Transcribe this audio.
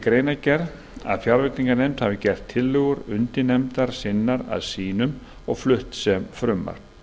greinargerð að fjárveitinganefnd hafi gert tillögur undirnefndar sinnar að sínum og flutt sem frumvarp